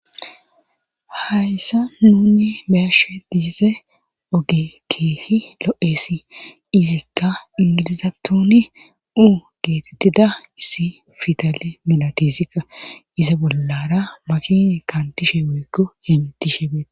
Hayssa nunni beashe diise oge keehi lo'eesi izikka ingilizatoni uu geetettida issi fitale minatisikqa iza bollara makine kantishe woykko hen tishe beete.